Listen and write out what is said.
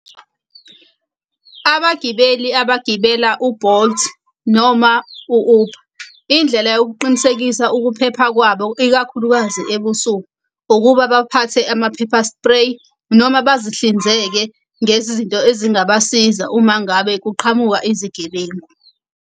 Abagibeli abagibela u-Bolt noma u-Uber, indlela yokuqinisekisa ukuphepha kwabo ikakhulukazi ebusuku ukuba baphathe ama-pepper spray noma bazihlinzeke ngezizinto ezingabasiza uma ngabe kuqhamuka izigebengu.